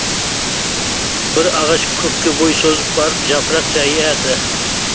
бір ағаш көкке бой созып барып жапырақ жаяды